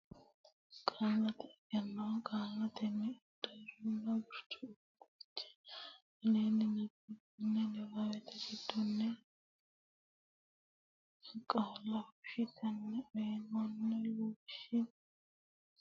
Qaallate Egenno Qaallannita Addaarronna Gurcho Fiche Aleenni nabbabbini niwaawe giddonni qaalla fushshitine uynoonni lawishshi fichensa gaamotenni ikkitine hasaabbe Qaallate Egenno.